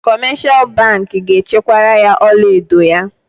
Kọmeshal bankị ga-echekwara ya ọlaedo ya.